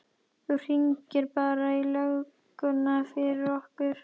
Þú hringir bara í lögguna fyrir okkur!